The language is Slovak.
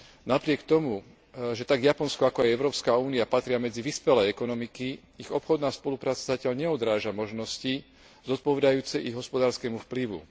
Napriek tomu, že tak Japonsko ako aj Európska únia patria medzi vyspelé ekonomiky, ich obchodná spolupráca zatiaľ neodráža možnosti zodpovedajúce ich hospodárskemu vplyvu.